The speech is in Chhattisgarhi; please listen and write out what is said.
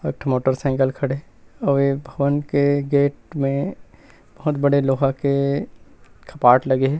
एक ठो मोटरसाइकिल खड़े हे अउ ए भवन के गेट में बहोत बड़े लोहा के कपाट लगे हे।